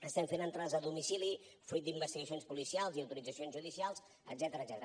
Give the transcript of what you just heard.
estem fent entrades a domicili fruit d’investigacions policials i autoritzacions judicials etcètera